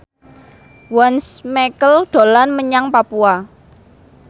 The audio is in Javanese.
Once Mekel dolan menyang Papua